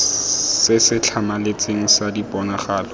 se se tlhamaletseng sa diponagalo